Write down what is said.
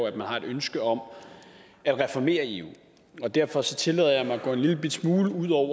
at man har et ønske om at reformere eu og derfor tillader jeg mig at gå en lillebitte smule ud over